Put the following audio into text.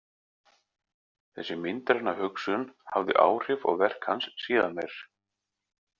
Þessi myndræna hugsun hafði áhrif á verk hans síðar meir.